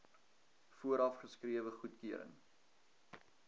vooraf geskrewe goedkeuring